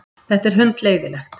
Þetta er hundleiðinlegt.